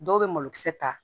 Dɔw bɛ malokisɛ ta